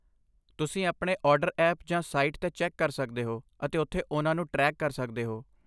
ਤੁਸੀਂ ਆਪਣੇ order app ਜਾਂ ਸਾਈਟ 'ਤੇ ਚੈੱਕ ਕਰ ਸਕਦੇ ਹੋ ਅਤੇ ਉੱਥੇ ਉਹਨਾਂ ਨੂੰ ਟ੍ਰੈਕ ਕਰ ਸਕਦੇ ਹੋ।